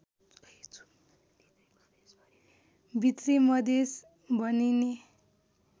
भित्री मधेश भनिने